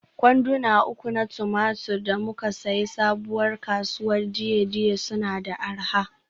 Kwanduna uku na tumatir da muka sayi Sabuwar kasuwar Dei-Dei suna da arha.